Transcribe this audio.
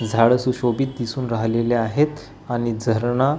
झाडं सुशोभित दिसून राहलेली आहेत आणि झाडांना--